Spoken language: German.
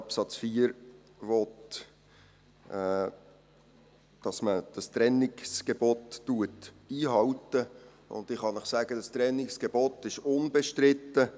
Absatz 4 will, dass man das Trennungsgebot einhält, und ich kann Ihnen sagen: Dieses Trennungsgebot ist unbestritten.